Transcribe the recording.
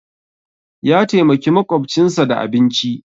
Ya taimaki maƙwabcinsa da abinci